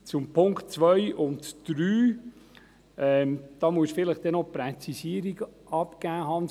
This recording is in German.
Zu den Punkten 2 und 3: Hans Jürg Rüegsegger, dazu müssen Sie vielleicht noch eine Präzisierung abgeben.